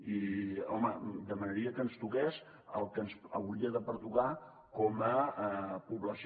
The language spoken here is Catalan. i home demanaria que ens toqués el que ens hauria de pertocar com a població